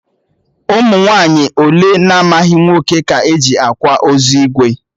Ụmụ nwaanyị ole na-amaghị nwoke ka e ji kwa ozu ìgwè?